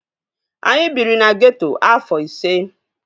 Anyị biri na geeto afọ ise